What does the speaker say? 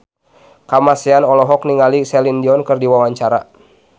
Kamasean olohok ningali Celine Dion keur diwawancara